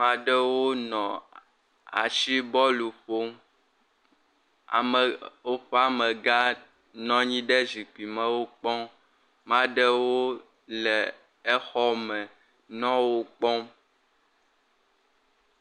Ma ɖewo nɔ ashibɔlu ƒom. Woƒe amegã nɔ nyi ɖe zikpui me wokpɔm. Ma ɖewo le exɔa me nɔ wokpɔm.